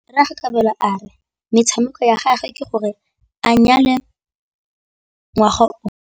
Rragwe Kabelo a re tshekamêlô ya gagwe ke gore a nyale ngwaga o.